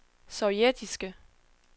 sovjetiske